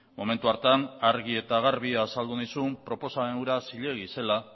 momentu hartan argi eta garbi azaldu nizun proposamen hura zilegi zela